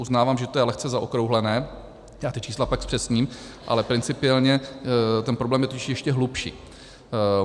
Uznávám, že to je lehce zaokrouhlené, já ta čísla pak zpřesním, ale principiálně ten problém je totiž ještě hlubší.